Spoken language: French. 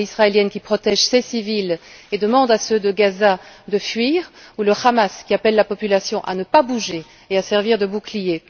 L'armée israélienne qui protège ses civils et demande à ceux de Gaza de fuir ou le Hamas qui appelle la population à ne pas bouger et à servir de bouclier?